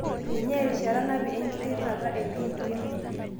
Ninye erishata napii engitirata e HIV.